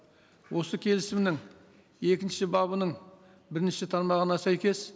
осы келісімнің екінші бабының бірінші тармағына сәйкес